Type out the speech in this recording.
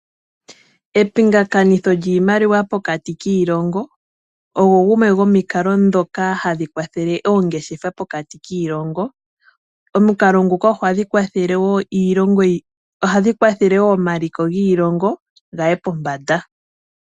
Epingakanitho lyiimaliwa pokati kiilongo ogo gamwe gomikalo ndhoka hadhi kwathele oongeshefa pokati kiilongo. Omukalo nguka oha gu kwathele woo omaliko giilongo gaye pombanda.